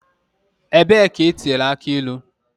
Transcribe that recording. Ebee ka etinyere aki ilu?